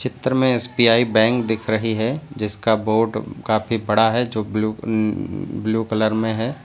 चित्र में SBI bank दिख रही है जिसका बोर्ड काफी बड़ा है जो ब्लू ब्लू कलर में है।